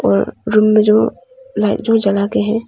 और रूम में जो लाइट जो जला के है।